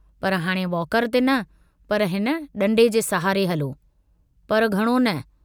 पर हाणे वॉकर ते न पर हिन डंडे जे सहारे हलो, पर घणो न।